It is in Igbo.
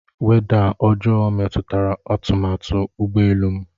Weda ọjọọ metụtara atụmatụ ụgbọ elu m.